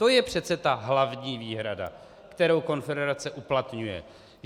To je přece ta hlavní výhrada, kterou konfederace uplatňuje.